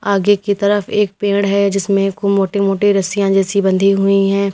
आगे की तरफ एक पेड़ है जिसमें एको मोटी मोटी रसिया जैसी बंधी हुई हैं।